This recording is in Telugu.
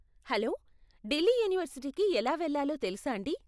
హలో, ఢిల్లీ యూనివర్సిటీకి ఎలా వెళ్ళాలో తెలుసాండీ?